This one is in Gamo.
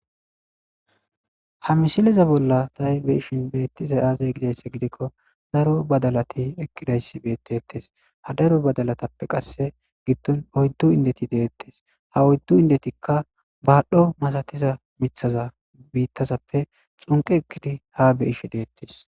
Ha mishileza bolla tay beishin beettiza aazay gizaysse gidikko daro badalati ekkidayssi beettettes ha daro badalatappe qasse giddon oyddu indeti deettes ha oyddu indetikka baadhdho masatiza mithaza biittazappe xunqe ekkidi ha be ishe deettes.